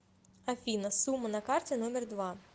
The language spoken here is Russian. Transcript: афина сумма на карте номер два